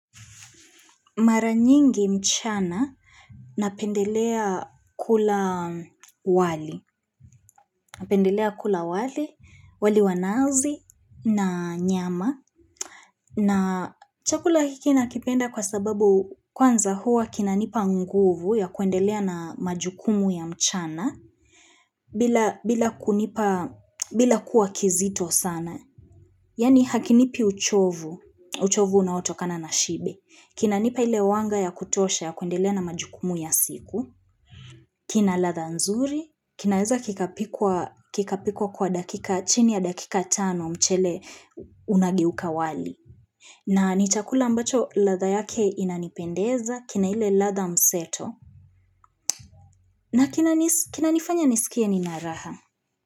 Maranyingi mchana napendelea kula wali, wali wa nazi na nyama. Na chakula hiki nakipenda kwa sababu kwanza huwa kinanipa nguvu ya kuendelea na majukumu ya mchana bila kuwa kizito sana. Yaani hakinipi uchovu, uchovu unaotokana na shibe, kina nipa ile wanga ya kutosha ya kuendelea na majukumu ya siku kina ladha nzuri, kinaeza kikapikwa kwa dakika, chini ya dakika tano mchele unageuka wali na ni chakula ambacho ladha yake inanipendeza, kina ile ladha mseto. Na kina nifanya nisikie nina raha.